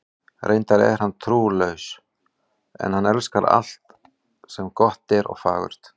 Reyndar er hann trúlaus, en hann elskar alt sem gott er og fagurt.